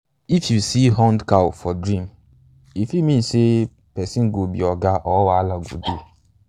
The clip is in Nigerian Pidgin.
if you um see horned cows for um dream um e fit mean say person go be oga or wahala go dey.